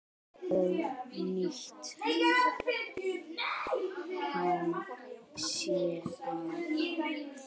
Og nýtti hann sér það.